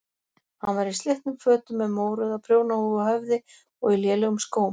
Hann var í slitnum fötum með mórauða prjónahúfu á höfði og í lélegum skóm.